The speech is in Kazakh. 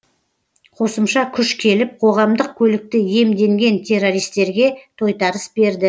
қосымша күш келіп қоғамдық көлікті иемденген террористерге тойтарыс берді